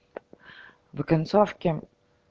в о концовке